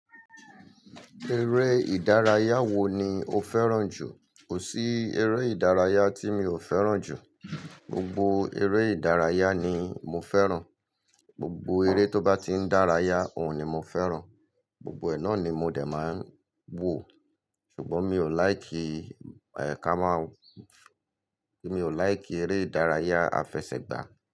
Eré ìdárayá wo ni o fẹ́ràn jù? Kò sí eré ìdárayá tí mi ò fẹ́ràn jù. Gbogbo eré ìdárayá ni mo fẹ́ràn. Gbogbo eré tó bá ti ń dárayá, òun ni mo fẹ́ràn. Gbogbo ẹ náà ni mo dè máa ń wò. Ṣùgbọ́n mi ò láì kí, ẹ̀ ká máa, mi ò láì kí eré ìdárayá afẹsẹ̀gbá.